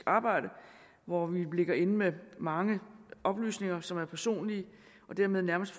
arbejde hvor vi ligger inde med mange oplysninger som er personlige og dermed nærmest